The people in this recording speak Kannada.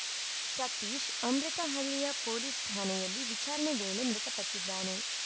ಸತೀಶ್‌ ಅಮೃತಹಳ್ಳಿಯ ಪೊಲೀಸ್‌ ಠಾಣೆಯಲ್ಲಿ ವಿಚಾರಣೆ ವೇಳೆ ಮೃತ ಪಟ್ಟಿದ್ದಾನೆ